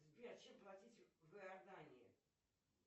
сбер чем платить в иордании